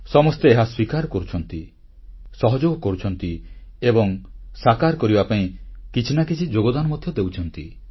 ସମସ୍ତେ ଏହାକୁ ସ୍ୱୀକାର କରୁଛନ୍ତି ସହଯୋଗ କରୁଛନ୍ତି ଏବଂ ସାକାର କରିବା ପାଇଁ କିଛି ନା କିଛି ଯୋଗଦାନ ମଧ୍ୟ ଦେଉଛନ୍ତି